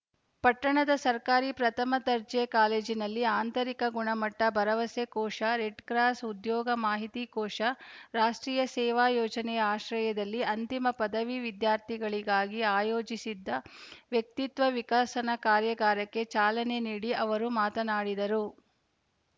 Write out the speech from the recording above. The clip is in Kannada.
ಪಟ್ಟಣದ ಸರ್ಕಾರಿ ಪ್ರಥಮ ದರ್ಜೆ ಕಾಲೇಜಿನಲ್ಲಿ ಆಂತರಿಕ ಗುಣಮಟ್ಟಭರವಸೆ ಕೋಶ ರೆಡ್‌ಕ್ರಾಸ್‌ ಉದ್ಯೋಗ ಮಾಹಿತಿ ಕೋಶ ರಾಷ್ಟೀಯ ಸೇವಾ ಯೋಜನೆಯ ಆಶ್ರಯದಲ್ಲಿ ಅಂತಿಮ ಪದವಿ ವಿದ್ಯಾರ್ಥಿಗಳಿಗಾಗಿ ಆಯೋಜಿಸಿದ್ದ ವ್ಯಕ್ತಿತ್ವ ವಿಕಸನ ಕಾರ್ಯಾಗಾರಕ್ಕೆ ಚಾಲನೆ ನೀಡಿ ಅವರು ಮಾತನಾಡಿದರು